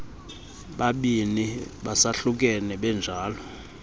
babini besahlukene benjalo